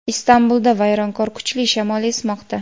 Istanbulda vayronkor kuchli shamol esmoqda.